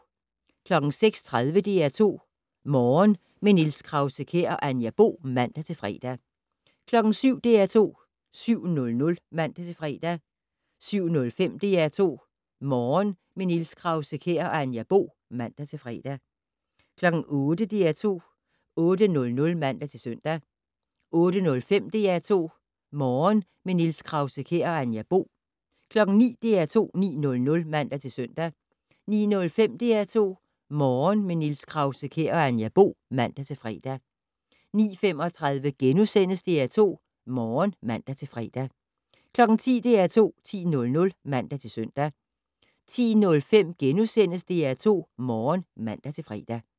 06:30: DR2 Morgen - med Niels Krause-Kjær og Anja Bo (man-fre) 07:00: DR2 7:00 (man-fre) 07:05: DR2 Morgen - med Niels Krause-Kjær og Anja Bo (man-fre) 08:00: DR2 8:00 (man-søn) 08:05: DR2 Morgen - med Niels Krause-Kjær og Anja Bo (man-fre) 09:00: DR2 9:00 (man-søn) 09:05: DR2 Morgen - med Niels Krause-Kjær og Anja Bo (man-fre) 09:35: DR2 Morgen *(man-fre) 10:00: DR2 10:00 (man-søn) 10:05: DR2 Morgen *(man-fre)